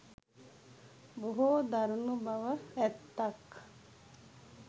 බොහෝ දරුණු බව ඇත්තක්